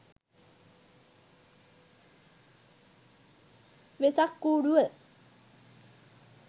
wesak kuduwa